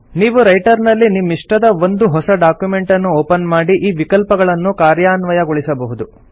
ನೀವು ರೈಟರ್ ನಲ್ಲಿ ನಿಮ್ಮಿಷ್ಟದ ಒಂದು ಹೊಸ ಡಾಕ್ಯುಮೆಂಟನ್ನು ಒಪನ್ ಮಾಡಿ ಈ ವಿಕಲ್ಪಗಳನ್ನು ಕಾರ್ಯಾನ್ವಯಗೊಳಿಸಬಹುದು